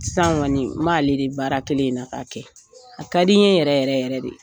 Sisan kɔni male de baara kelen na ka kɛ a ka di n ye yɛrɛ yɛrɛ yɛrɛ de